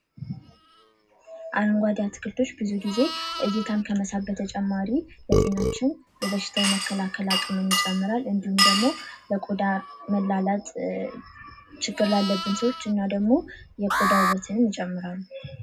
አረንጓዴ አትክልቶች ብዙ ጊዜ እይታን ከመሳብ በተጨማሪ ለጤናችን በሽታ የመከላከል አቅምን ይጨምራል እንድሁም ደግሞ ለቆዳ መላላጥ ችግር ላለብን ሰዎች እና ደግሞ የቆዳ ውበትን ይጨምራል።